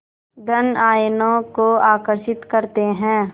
धन आयनों को आकर्षित करते हैं